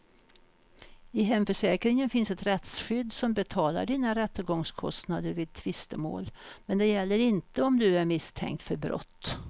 I hemförsäkringen finns ett rättsskydd som betalar dina rättegångskostnader vid tvistemål, men det gäller inte om du är misstänkt för brott.